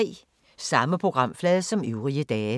Samme programflade som øvrige dage